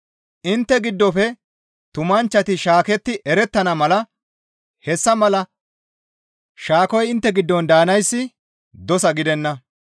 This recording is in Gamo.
Intte giddofe tumanchchati shaaketti erettana mala hessa mala shaakoy intte giddon daanayssi dosa gidenna.